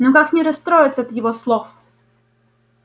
но как не расстроиться от его слов